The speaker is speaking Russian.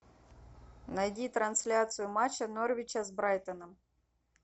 найди трансляцию матча норвича с брайтоном